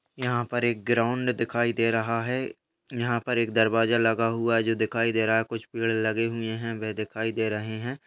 यहाँ पर एक ग्राउंड दिखाई दे रहा है| यहाँ पर एक दरवाजा लगा हुआ है जो दिखाई दे रहा है कुछ पेड़ लगे हुए हैं वे दिखाई दे रहे हैं।